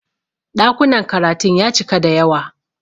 Ɗakunan karatun ya cika da yawa.